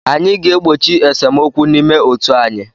Anyị ga-egbochi esemokwu n'ime otu anyị.